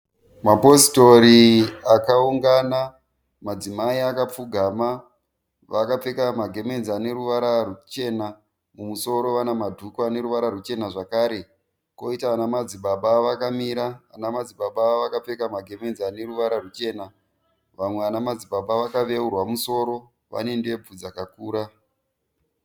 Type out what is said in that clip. Mapositori akaungana madzimai akapfugama . Vakapfeka magemenzi aneruvara ruchena mumusoro vane madhuku aneruvara ruchena zvakare . Koita vana madzibaba vakamira . Ana madzibaba vakapfeka magemenzi aneruvara ruchena . Vamwe vana madzibaba vakaveurwa mumusoro vane ndebvu dzakakura .